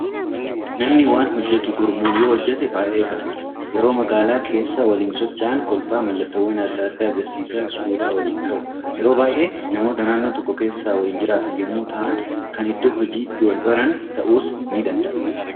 Namni waan hojjetu gurmuun yoo hojjete baay'ee gammada. Yeroo magaalaa keessa waliin socho'an kolfaa mallattoowwan adda addaa agarsiisaa suuraa waliin ka'u. Yeroo baay'ee namoota naannoo tokko keessa waliin jiraatan yommuu ta'an, kan iddoo hojiitti wal baran ta'uus ni danda'a.